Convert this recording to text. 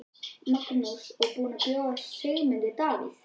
Magnús: Og búin að bjóða Sigmundi Davíð?